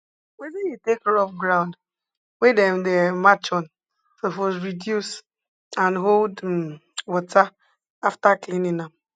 wetin you take rub ground wey dem dey um march on suppose reduce and hold um water after cleaning am